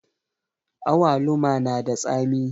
Awaluma na da tsami